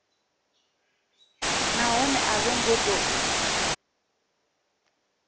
nahone a vho ngo tou